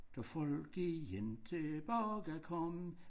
Da folk igen tilbage kom